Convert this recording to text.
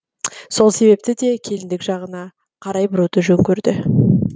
сол себепті де келіндік жағына қарай бұруды жөн көрді